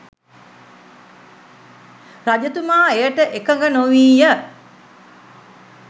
රජතුමා එයට එකඟ නොවී ය.